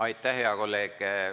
Aitäh, hea kolleeg!